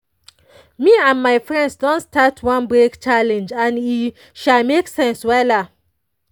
me and my friends don start one break challenge and e make sense wella.